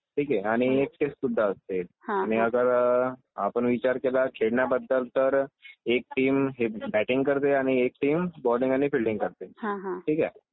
ठीक आहे. आणि एक टेस्ट सुद्धा असते. आणि जर आपण विचार केला खेळण्याबद्दल तर एक टीम बॅटिंग करते आणि एक टीम बोलिंग आणि फिल्डिंग करते. ठीक आहे.